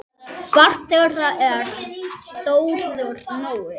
Barn þeirra er Þórður Nói.